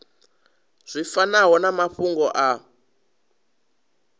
zwi fanaho na mafhungo a